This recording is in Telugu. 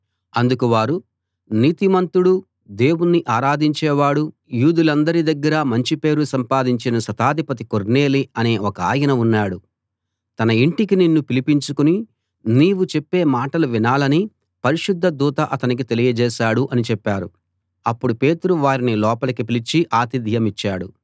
అందుకు వారు నీతిమంతుడు దేవుణ్ణి ఆరాధించేవాడు యూదులందరి దగ్గరా మంచి పేరు సంపాదించిన శతాధిపతి కొర్నేలి అనే ఒకాయన ఉన్నాడు తన ఇంటికి నిన్ను పిలిపించుకుని నీవు చెప్పే మాటలు వినాలని పరిశుద్ధ దూత అతనికి తెలియజేశాడు అని చెప్పారు అప్పుడు పేతురు వారిని లోపలికి పిలిచి అతిథ్యమిచ్చాడు